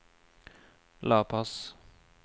La Paz